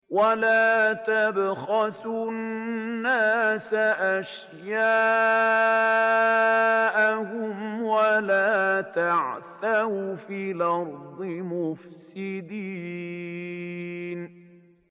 وَلَا تَبْخَسُوا النَّاسَ أَشْيَاءَهُمْ وَلَا تَعْثَوْا فِي الْأَرْضِ مُفْسِدِينَ